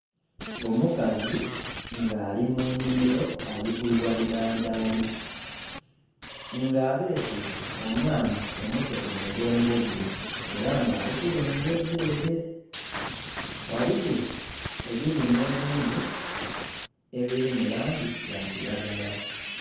Omukazi nga ali munhimilo ali kwigha bidhadhaali nga abeese omwana omuto ku mugongo gwe era nga ali kulengeza ele ghaliwo ebilime ebindhi ebiri mulangi ya kilagara